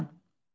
İxtisarla.